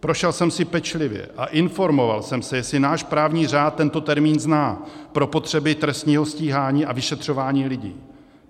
Prošel jsem si pečlivě a informoval jsem se, jestli náš právní řád tento termín zná pro potřeby trestního stíhání a vyšetřování lidí.